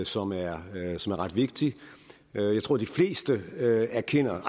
som er ret vigtig jeg tror de fleste erkender